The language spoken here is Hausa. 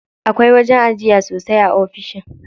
Akwai wajen ajiya sosai a ofishin.